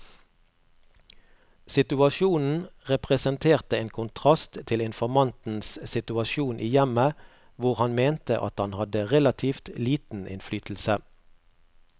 Situasjonen representerte en kontrast til informantens situasjon i hjemmet, hvor han mente at han hadde relativt liten innflytelse.